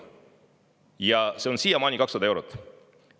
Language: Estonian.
Ja see on siiamaani 200 eurot.